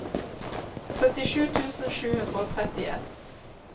syttisju tusen sju hundre og trettien